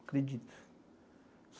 Acredito.